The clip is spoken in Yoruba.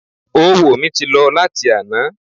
Oówo mi ti lọ láti àná